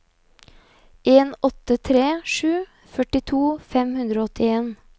en åtte tre sju førtito fem hundre og åttien